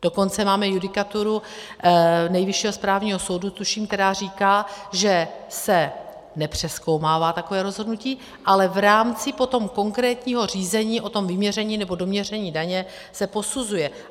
Dokonce máme judikaturu Nejvyššího správního soudu, tuším, která říká, že se nepřezkoumává takové rozhodnutí, ale v rámci potom konkrétního řízení o tom vyměření nebo doměření daně se posuzuje.